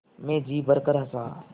मैं जी भरकर हँसा